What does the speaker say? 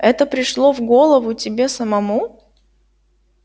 это пришло в голову тебе самому